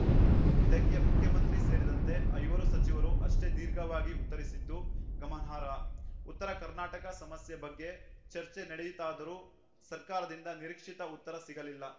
ಇದಕ್ಕೆ ಮುಖ್ಯಮಂತ್ರಿ ಸೇರಿದಂತೆ ಐವರು ಸಚಿವರು ಅಷ್ಟೇ ದೀರ್ಘವಾಗಿ ಉತ್ತರಿಸಿದ್ದು ಗಮನಾರ್ಹ ಉತ್ತರ ಕರ್ನಾಟಕ ಸಮಸ್ಯೆ ಬಗ್ಗೆ ಚರ್ಚೆ ನಡೆಯಿತಾದರೂ ಸರ್ಕಾರದಿಂದ ನಿರೀಕ್ಷಿತ ಉತ್ತರ ಸಿಗಲಿಲ್ಲ